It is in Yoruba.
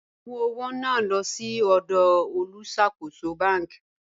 Mú ọwọ̀ náà lọ̀ sí ọdọ̀ olúṣàkóṣọ̀ bánk.